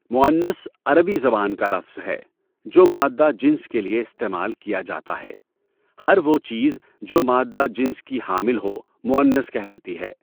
مُؤنّث عربی زبان کا لفظ ہے جو مادہ جنس کے لیے استعمال کیا جاتا ہے۔ ہر وہ چیز جو مادہ جنس کی حامل ہو مؤنث کہلاتی ہے۔